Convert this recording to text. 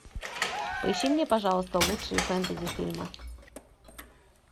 поищи мне пожалуйста лучшие фэнтези фильмы